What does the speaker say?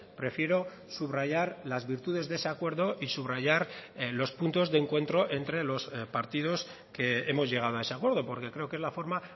prefiero subrayar las virtudes de ese acuerdo y subrayar los puntos de encuentro entre los partidos que hemos llegado a ese acuerdo porque creo que es la forma